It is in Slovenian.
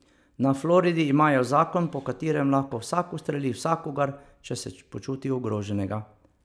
Na Floridi imajo zakon, po katerem lahko vsak ustreli vsakogar, če se počuti ogroženega.